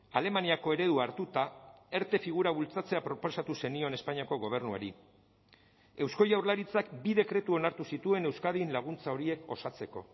alemaniako eredua hartuta erte figura bultzatzea proposatu zenion espainiako gobernuari eusko jaurlaritzak bi dekretu onartu zituen euskadin laguntza horiek osatzeko